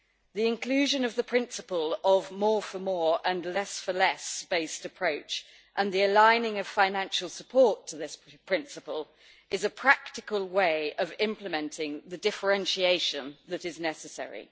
The inclusion of the principle of a more for more and less for less' based approach and the aligning of financial support to this principle is a practical way of implementing the differentiation that is necessary.